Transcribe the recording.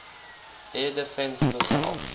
air defense missile